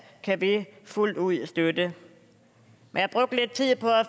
kan vi fuldt ud støtte jeg brugte lidt tid på at